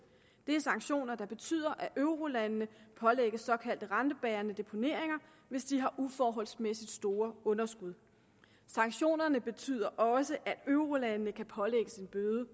det er sanktioner der betyder at eurolandene pålægges såkaldte rentebærende deponeringer hvis de har uforholdsmæssigt store underskud sanktionerne betyder også at eurolandene kan pålægges en bøde